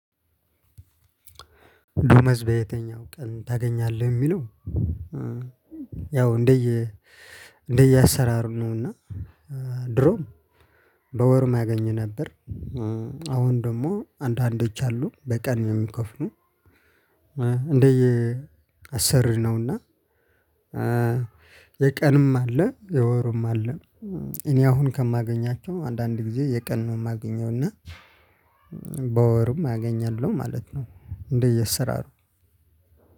ደሞዝ በየትኛው ቀን ታገኛለህ የሚለው? ያው እንደየ እንደየአሰራር ነው። እና ድሮም በወርም አገኝ ነበር። አሁን ደግሞ አንዳንዶች አሉ በቀን የሚከፍሉ። እንደየ አሰሪው ነውና። የቀንም አለ የወርም አለ። እኔ አሁን ከማገኛቸው አንዳንድ ጊዜ የቀን ነው የማገኘው እና በወርም አገኛለሁ ማለት ነው። እንደየአሰራሩ